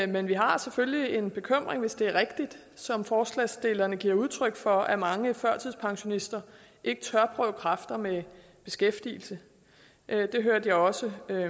men vi har selvfølgelig en bekymring hvis det er rigtigt som forslagsstillerne giver udtryk for at mange førtidspensionister ikke tør prøve kræfter med beskæftigelse det hørte jeg også